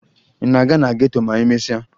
Ị na-aga na geto ma emesịa?